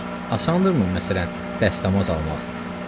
Asandırımı məsələn dəstəmaz almaq?